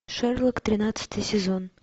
шерлок тринадцатый сезон